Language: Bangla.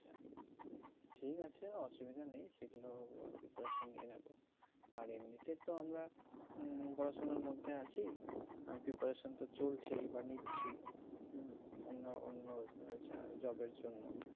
ঠিক আছে অসুবিধা নেই সেগুলো preparation নিয়ে নেবো আর এমনিতে তো আমরা মমম পড়াশোনার মধ্যে আছি আহ preparation তো চলছেই বা নিচ্ছি হম অন্য অন্য job এর জন্য